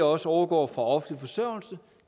også overgår fra offentlig forsørgelse